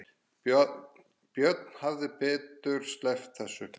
Björn hefði betur sleppt þessu.